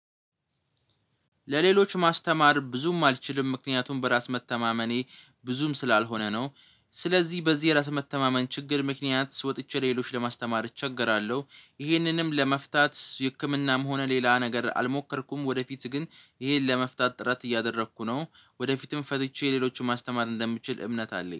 ለሌሎች ማስተማር ብዙም አልችልም ምክንያቱም በራስ መተማመኔ ብዙም ስላልሆነ ነው። ስለዚህ በዚህ የራስ መተማመን ችግር ምክንያት ወጥቼ ሌሎች ለማስተማር እቸገራለሁ። ይህንንም ለመፍታት ህክምናም ሆነ ሌላ ነገር አልሞከርኩም። ወደፊት ግን ይሄን ለመፍታት ጥረት እያደረኩ ነው ወደፊትም ፈትቼ ሌሎችን ማስተማር እንደምችል እምነት አለኝ